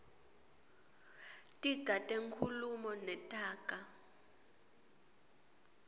tiga tenkhulumo netaga